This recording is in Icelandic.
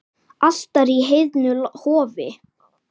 Altari í heiðnu hofi.